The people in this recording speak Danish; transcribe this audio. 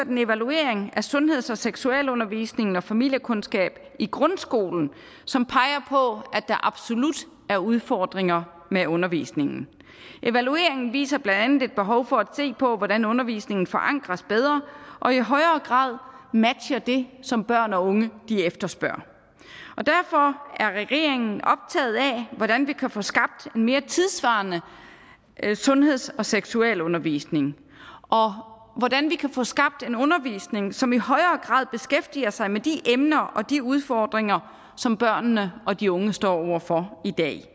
en evaluering af sundheds og seksualundervisningen og familiekundskab i grundskolen som peger på at der absolut er udfordringer med undervisningen evalueringen viser blandt andet et behov for at se på hvordan undervisningen forankres bedre og i højere grad matcher det som børn og unge efterspørger derfor er regeringen optaget af hvordan vi kan få skabt en mere tidssvarende sundheds og seksualundervisning og hvordan vi kan få skabt en undervisning som i højere grad beskæftiger sig med de emner og de udfordringer som børnene og de unge står over for i dag